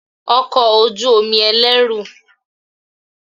Ọkọ̀ ojú omi ẹlẹ́rù